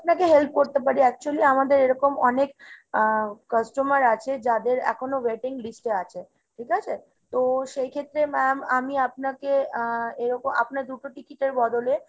আপনাকে help করতে পারি। actually আমাদের এরকম অনেক আহ customer আছে যাদের এখনো waiting list এ আছে ঠিক আছে ? তো সেই ক্ষেত্রে ma'am আমি আপনাকে আ আপনার দুটো ticket এর বদলে